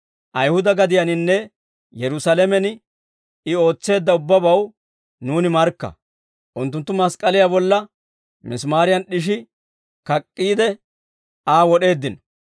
«Ayihuda gadiyaaninne Yerusaalamen I ootseedda ubbabaw nuuni markka. Unttunttu mask'k'aliyaa bolla misimaariyan d'ishi kak'k'iide, Aa wod'eeddino.